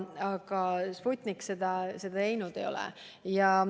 Aga Sputnik seda luba saanud ei ole.